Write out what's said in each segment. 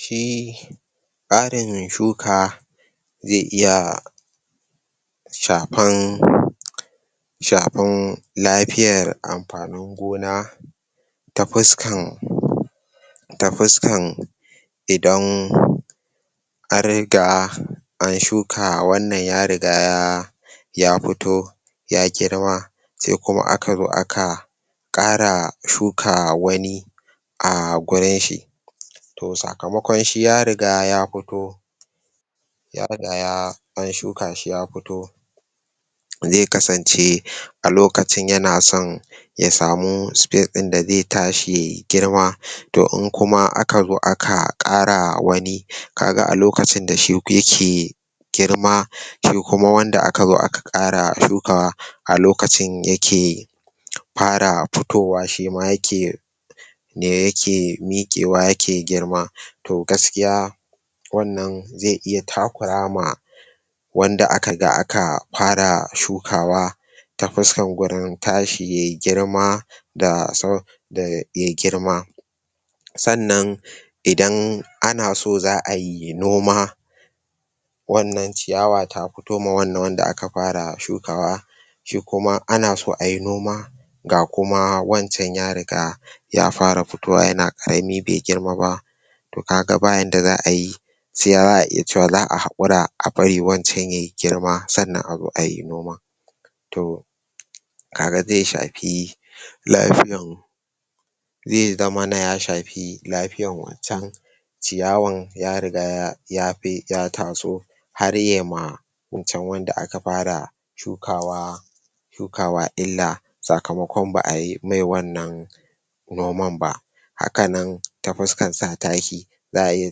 shi tsarin shuka zai iya shafan shafan lafiyan anfanin gona ta fuskan ta fuskan i don an riga an shuka wannan, wannan ya riga ya ya fito ya girma sai kuma aka zo aka kara shuka wani a gurin shi to sakamakon shi ya riga ya fito ya riga yaa an shuka shi ya fito zai kasan ce a lokacin yana son ya samuu space din da zai tashi ya girma to in kuma aka to in kuma ka zo aka akaa kara wani ka ga alokacin da shin ko yake girma shi kuma wanda aka zo a ka kara shukawa a lokacin yakee fara fitowa fitowa shima yake ne yakee mikewa yakee girma gaskiya wannan zai iya takuwa maa wanda aka aka faraa shukawa ta fuskar gurun tashi ya yi girma da da ya girma san nan idan ana so zaa yi noma wan nan ciyawa tafitowa fitowa wannan wanda akafara shukawa kuma ana so a yi noma ga kuma wanjacan riga yafara fitowa yanna karamin bai girma ba kaga bayanda za'ayi sai za'a iya cewa za'a h akura abari wancen yayi girma sannan a zo ayi noma to da zai shafii lafiyan zai zamana ya shafi lafiayan wanchan ciyawan ya riga ya bi ya taso har nai ma wancan wanda aka fara shukawa shuka wa illa sakamakon ba a yi mai wannan noman ba haka nan ta fuskan sa taki zaa iya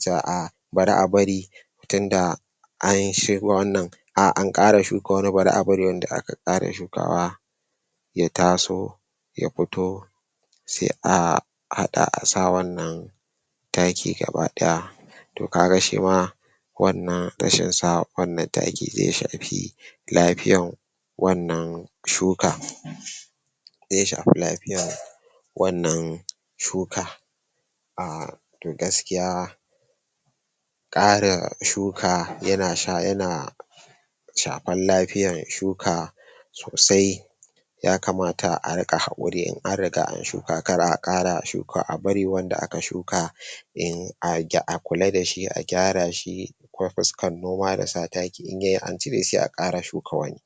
cewa aa bari a bari tunda an shuka wannan a an kara shuka wani, bari a bari wanda aka kara shukawa ya taso ya fito sai a a hada a sa wannan taki gaba daya to kaga shima wan nan rashin sa wa wannan taki zai shafi lafiyan wan nan shuka zan shafi lafiyan wan nan shuka a to gaskiya kara shuka, yana sa yana shafan lafiyan shuka sosai ya kamata a rinka hakuri in an riga an shuka, kar a kara shukawa, a bari wanda aka shuka din a kula dashi, a kwara shi, ta fiskan noma da sa taki in yayi an cire sai a kara shuka wani